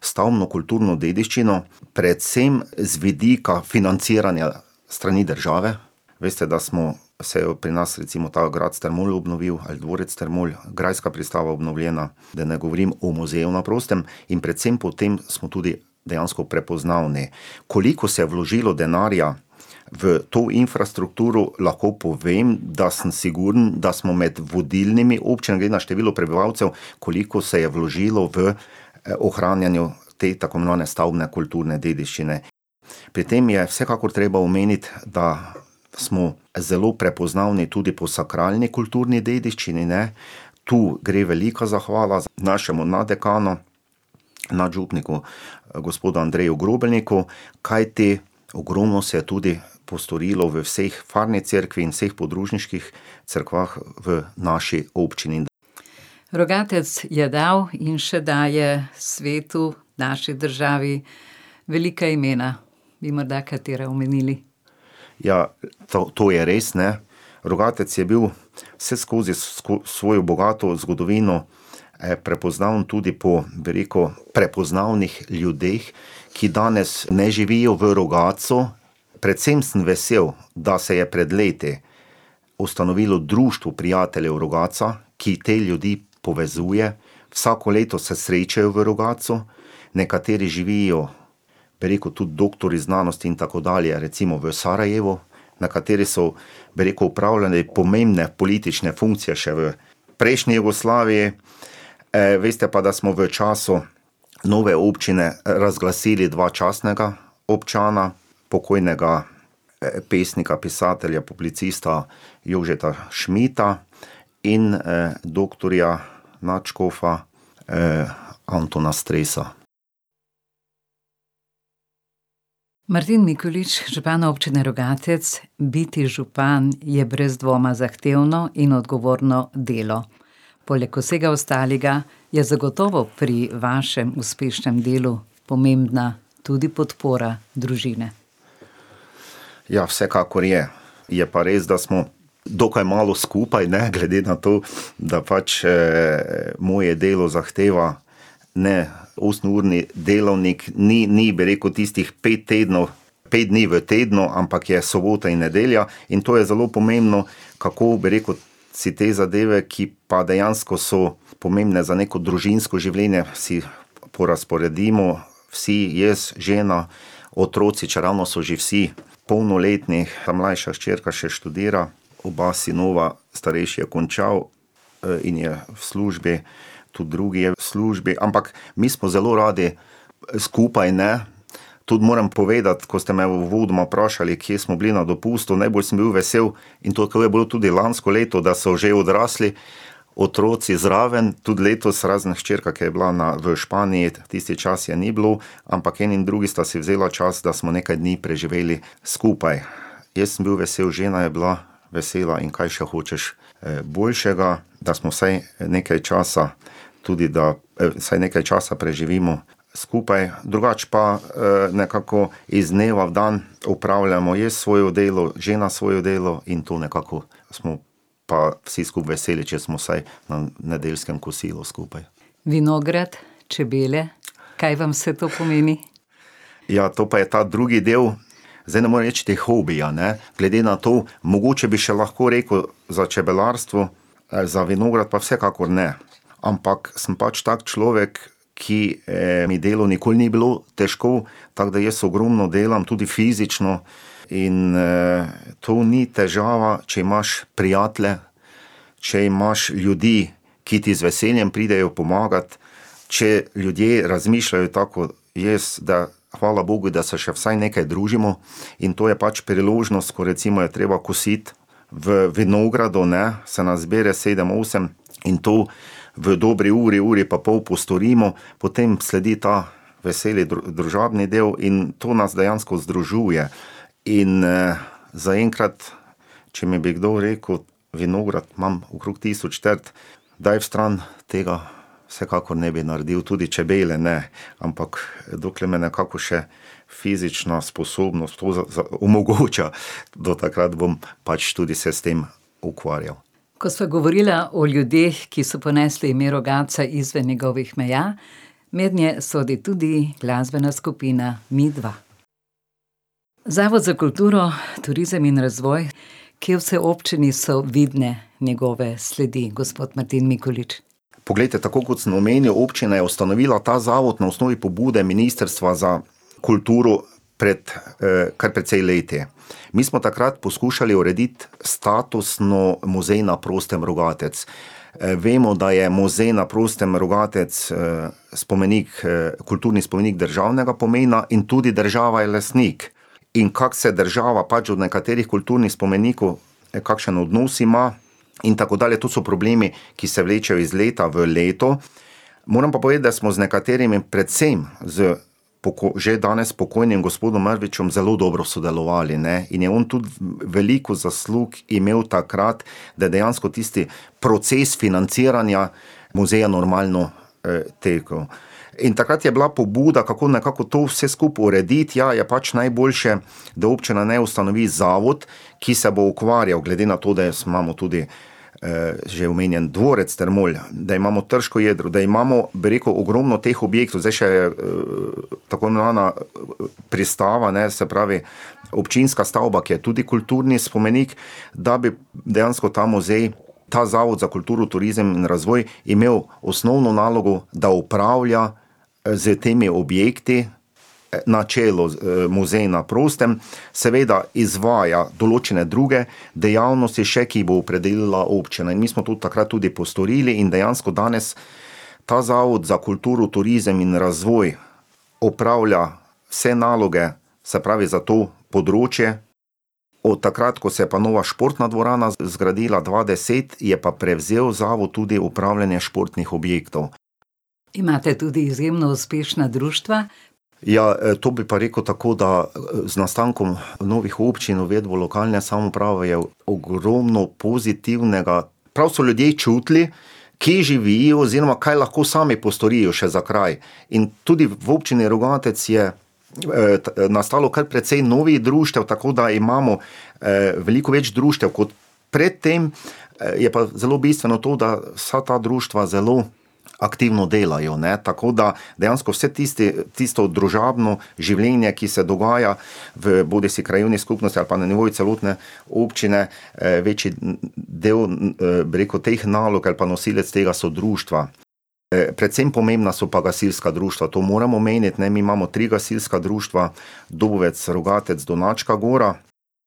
stavbno kulturno dediščino, predvsem z vidika financiranja s strani države. Veste, da smo, se je pri nas, recimo ta grad Strmol obnovil, ali dvorec Strmol, grajska pristava obnovljena, da ne govorim o Muzeju na prostem. In predvsem po tem smo tudi dejansko prepoznavni. Koliko se je vložilo denarja v to infrastrukturo, lahko povem, da sem sigurno, da smo med vodilnimi občinami glede na število prebivalcev, koliko se je vložilo v, ohranjanje te tako imenovane stavbne kulturne dediščine. Pri tem je vsekakor treba omeniti, da smo zelo prepoznavni tudi po sakralni kulturni dediščini, ne, tu gre velika zahvala našemu naddekanu, nadžupniku, gospodu Andreju Grobelniku, kajti ogromno se je tudi postorilo v vseh, farni cerkvi in vseh podružniških cerkvah v naši občini. Rogatec je dal in še daje svetu, naši državi velika imena. Bi morda katera omenili? Ja, to, to je res, ne. Rogatec je bil vseskozi s svojo bogato zgodovino, prepoznaven tudi po, bi rekel, prepoznavnih ljudeh, ki danes ne živijo v Rogatcu. Predvsem sem vesel, da se je pred leti ustanovilo Društvo prijateljev Rogatca, ki te ljudi povezuje. Vsako leto se srečajo v Rogatcu, nekateri živijo, bi rekel, tudi doktorji znanosti in tako dalje, recimo v Sarajevu, nekateri so, bi rekel, opravljali pomembne politične funkcije še v prejšnji Jugoslaviji, veste pa, da smo v času nove občine razglasili dva častna občana, pokojnega, pesnika, pisatelja, publicista Jožeta Šmita, in, doktorja, nadškofa, Antona Stresa. Martin Mikolič, župan Občine Rogatec, biti župan je brez dvoma zahtevno in odgovorno delo. Poleg vsega ostalega je zagotovo pri vašem uspešnem delu pomembna tudi podpora družine. Ja, vsekakor je. Je pa res, da smo dokaj malo skupaj, ne, glede na to, da pač, moje delo zahteva ne osemurni delavnik. Ni, ni, bi rekel, tistih pet tednov, pet dni v tednu, ampak je sobota in nedelja in to je zelo pomembno, kako, bi rekel, si te zadeve, ki pa dejansko so pomembne za neko družinsko življenje, si porazporedimo, vsi, jaz, žena, otroci, čeravno so že vsi polnoletni, mlajša hčerka še študira, oba sinova, starejši je končal, in je v službi, tudi drugi je v službi, ampak mi smo zelo radi, skupaj, ne. Tudi moram povedati, ko ste me uvodoma vprašali, kje smo bili na dopustu, najbolj sem bil vesel in tako je bilo tudi lansko leto, da so že odrasli otroci zraven. Tudi letos, razen hčerka, ko je bila na, v Španiji, tisti čas je ni bilo, ampak eni in drugi sta si vzela čas, da smo nekaj dni preživeli skupaj. Jaz sem bil vesel, žena je bila vesela in kaj še hočeš, boljšega, da smo vsaj, nekaj časa, tudi da, vsaj nekaj časa preživimo skupaj. Drugače pa, nekako iz dneva v dan opravljamo jaz svoje delo, žena svoje delo in to nekako smo pa vsi skupaj veseli, če smo vsaj na nedeljskem kosilu skupaj. Vinograd, čebele, kaj vam vse to pomeni? Ja, to pa je ta drugi del, zdaj ne morem reči, da je hobi, a ne, glede na to, mogoče bi še lahko rekel za čebelarstvo, za vinograd pa vsekakor ne. Ampak sem pač tak človek, ki, mi delo nikoli ni bilo težko, tako da jaz ogromno delam tudi fizično in, to ni težava, če imaš prijatelje, če imaš ljudi, ki ti z veseljem pridejo pomagat. Če ljudje razmišljajo tako kot jaz, da hvala bogu, da se še vsaj nekaj družimo, in to je pač priložnost, ko recimo je treba kositi v vinogradu, ne, se nas zbere sedem, osem in to v dobri uri, uri pa pol postorimo. Potem sledi ta veseli družabni del in to nas dejansko združuje. In, zaenkrat, če mi bi kdo rekel, vinograd imam okrog tisoč trt, daj stran, tega vsekakor ne bi naredil, tudi čebele ne. Ampak, dokler me nekako še fizična sposobnost to omogoča, do takrat bom pač tudi se s tem ukvarjal. Ko sva govorila o ljudeh, ki so ponesli ime Rogatca izven njegovih meja, mednje sodi tudi glasbena skupina Midva. Zavod za kulturo, turizem in razvoj, kje vse v občini so vidne njegove sledi, gospod Martin Mikolič? Poglejte, tako kot sem omenjal, občina je ustanovila ta zavod na osnovi pobude Ministrstva za kulturo pred, kar precej leti. Mi smo takrat poskušali urediti statusno Muzej na prostem Rogatec. vemo, da je Muzej na prostem Rogatc, spomenik kulturni spomenik državnega pomena, in tudi država je lastnik. In kako se država pač od nekaterih kulturnih spomenikov, kakšen odnos ima in tako dalje, to so problemi, ki se vlečejo iz leta v leto. Moram pa povedati, da smo z nekaterimi, predvsem z že danes pokojnim gospodom Mrvičem zelo dobro sodelovali, ne, in je on tudi veliko zaslug imel takrat, da je dejansko tisti proces financiranja muzeja normalno, tekel. In takrat je bila pobuda, kako nekako to vse skupaj urediti, ja, je pač najboljše, da občina ne ustanovi zavod, ki se bo ukvarjal, glede na to, da imamo tudi, že omenjeni Dvorec Strmol, da imamo trško jedro, da imamo, bi rekel, ogromno teh objektov, zdaj še, tako imenovana, pristava, ne, se pravi občinska stavba, ki je tudi kulturni spomenik, da bi dejansko ta muzej, ta Zavod za kulturo, turizem in razvoj imel osnovno nalogo, da upravlja, s temi objekti, na čelu z, Muzej na prostem, seveda izvaja določene druge dejavnosti še, ki jih bo opredelila občina, in mi smo to takrat tudi postorili, in dejansko danes ta Zavod za kulturo, turizem in razvoj opravlja vse naloge, se pravi za to področje. Od takrat, ko se je pa nova športna dvorana zgradila dva deset, je pa prevzel zavod tudi upravljanje športnih objektov. Imate tudi izjemno uspešna društva. Ja, to bi pa rekel tako, da, z nastankom novih občin, uvedbo lokalne samouprave je ogromno pozitivnega. Prav so ljudje čutili, kje živijo oziroma kaj lahko sami postorijo še za kraj. In tudi v Občini Rogatec je, nastalo kar precej novih društev, tako da imamo, veliko več društev kot pred tem, je pa zelo bistveno to, da vsa ta društva zelo aktivno delajo, ne, tako da dejansko vse tisti, tisto družabno življenje, ki se dogaja v bodisi krajevni skupnosti ali pa na nivoju celotne občine, večji del, bi rekel, teh nalog ali pa nosilec tega so društva. predvsem pomembna so pa gasilska društva, to moram omeniti, ne, mi imamo tri gasilska društva, Dovec, Rogatec, Donačka gora,